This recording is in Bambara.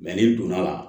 ni donna a la